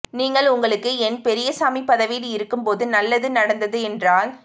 நீங்கள் உங்களுக்கு என் பெரியசாமி பதவியில் இருக்கும்போது நல்லது நடந்த தென்றால்